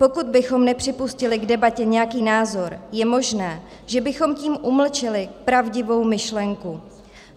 Pokud bychom nepřipustili k debatě nějaký názor, je možné, že bychom tím umlčeli pravdivou myšlenku.